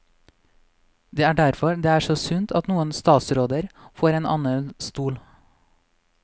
Det er derfor det er så sunt at noen statsråder får en annen stol.